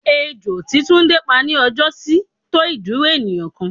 Ejo tí túndé pá ní ọjọ́ sí tó ìdúró ènìyàn kan.